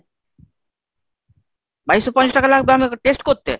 বাইশশো পঞ্চাশ টাকা লাগবে আমাকে test করতে?